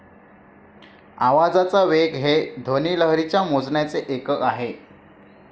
आवाजाचा वेग हे एक ध्वनी लहरीचा मोजण्याचे एकक आहे.